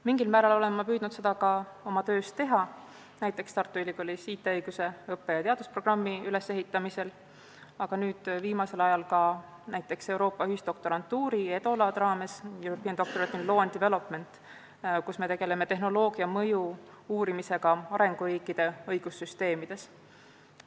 Mingil määral olen ma püüdnud seda ka oma töös teha, näiteks Tartu Ülikoolis IT-õiguse õppe- ja teadusprogrammi ülesehitamisel, aga viimasel ajal ka näiteks Euroopa ühisdoktorantuuri EDOLAD raames, kus me uurime tehnoloogia mõju arenguriikide õigussüsteemidele.